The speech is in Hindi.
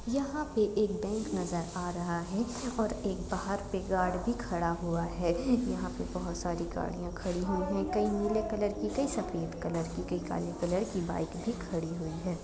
यहां पे एक बेंक नजर आ रहा है और बाहर एक गार्ड भी खड़ा है यहां पे बहुत सारी गाडिया खड़ी है कई नीले कलर की कई सफ़ेद की कई काले कलर की बाईक भी खड़ी है।